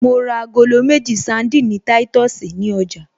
Mo ra agolo méjì sandini táìtọ̀sì ní ọjà